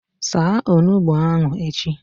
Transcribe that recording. Saa Onugbu ahụ echi!